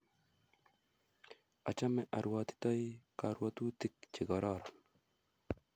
Achame arwotitoi karwotutik che kororon